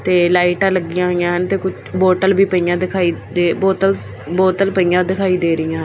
ਤੇ ਲਾਈਟਾਂ ਲੱਗੀਆਂ ਹੋਈਆਂ ਹਨ ਤੇ ਬੋਤਲ ਵੀ ਪਈਆਂ ਦਿਖਾਈ ਬੋਤਲਸ ਬੋਤਲ ਪਈਆਂ ਦਿਖਾਈ ਦੇ ਰਹੀਆਂ ਹਨ।